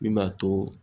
Min b'a to